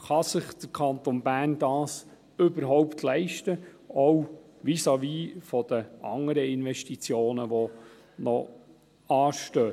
Kann sich der Kanton Bern dies überhaupt leisten, auch vis-à-vis der anderen Investitionen, die noch anstehen?